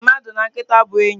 Mmadụ na nkịta bụ enyi.